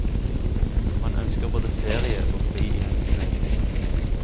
Man ønsker både ferie og fri i helgene.